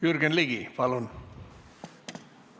Jürgen Ligi, palun!